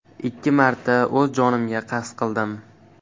Ikki marta o‘z jonimga qasd qildim.